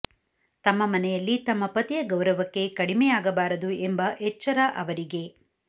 ತಮ್ಮ ಮನೆಯಲ್ಲಿ ತಮ್ಮ ಪತಿಯ ಗೌರವಕ್ಕೆ ಕಡಿಮೆಯಾಗಬಾರದು ಎಂಬ ಎಚ್ಚರ ಅವರಿಗೆ